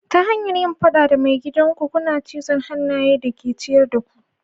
Ta hanyar yin fada da maigidan ku, kuna cizon hannayen da ke ciyar da ku.